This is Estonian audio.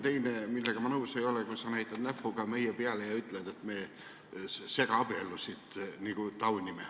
Teine, millega ma nõus ei ole, kui sa näitad näpuga meie peale ja ütled, et me segaabielusid nagu taunime.